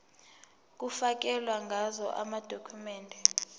kufakelwe ngazo amadokhumende